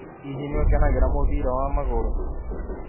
Hĩhĩ nĩ ũkenagĩra mũbira wa magũrũ?